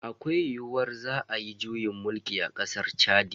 Akwai yiyuwar za ayi juyin mulki a kasar Chadi.